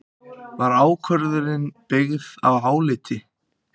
Var ákvörðunin byggð á áliti